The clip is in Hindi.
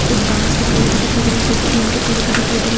कुछ बास के पेड़ भी दिखाई दे रहे कुछ छीन के पेड़ भी दिखाई दे रहें।